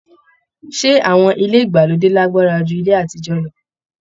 Ṣé awọn ilé ìgbàlódé lagbara ju ilé àtijọ lọ?